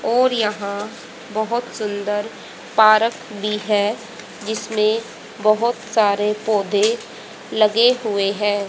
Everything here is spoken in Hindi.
और यहाँ बहोत सुंदर भी है जिसमें बहोत सारे पौधे लगे हुए है।